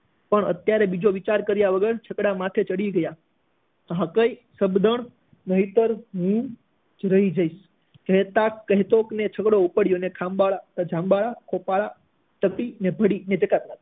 પણ અત્યારે બીજો વિચાર કર્યા વગર છકડા માથે ચડી ગયા હાંક અઈ શબ્દન નહીતર હું જ રહી જઈશ કહેતા કહેતા જ છકડો ઉપાડ્યો અને